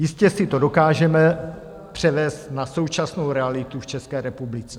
Jistě si to dokážeme převést na současnou realitu v České republice.